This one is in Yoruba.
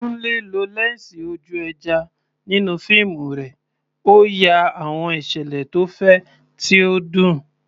Kunle lo lẹ́ńsì ojú ẹja nínú fíìmù rẹ̀, ó ya àwọn ìṣẹ̀lẹ̀ tó fẹ̀, tí ó dùn.